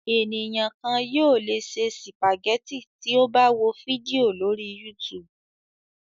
Ènìyàn kan yóò le se sìpàgẹ́tì tí ó bá wo fídíò lórí YouTube.